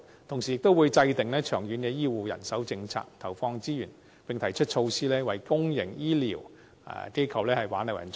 同時，亦會制訂長遠醫護人手政策，投放資源，並提出措施為公營醫療機構挽留人才。